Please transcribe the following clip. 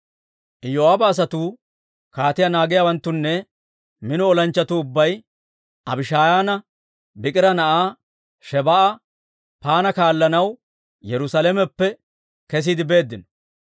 Iyoo'aaba asatuu, kaatiyaa naagiyaawanttunne mino olanchchatuu ubbay Abishaayaana Biikira na'aa Shebaa'a yederssanaw Yerusalameppe kesiide beeddino.